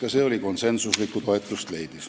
Aitäh!